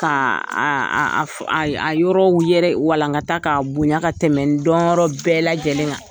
Ka a a a yɔrɔw yɛrɛ walankata k'a bonya ka tɛmɛ n dɔnyɔrɔ bɛɛ lajɛlen kan.